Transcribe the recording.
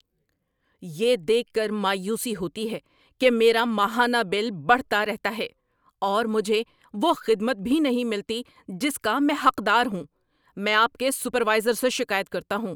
یہ دیکھ کر مایوسی ہوتی ہے کہ میرا ماہانہ بل بڑھتا رہتا ہے، اور مجھے وہ خدمت بھی نہیں ملتی جس کا میں حقدار ہوں۔ میں آپ کے سپروائزر سے شکایت کرتا ہوں۔